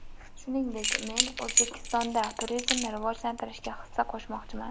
Shuningdek, men O‘zbekistonda turizmni rivojlantirishga hissa qo‘shmoqchiman.